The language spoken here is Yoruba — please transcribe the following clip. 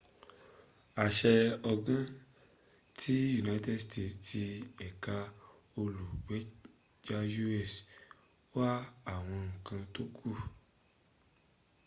àṣẹ ọgbọ́n ti united states tí ẹ̀ka olùgbèjà u.s wà àwọn ǹkan tó kù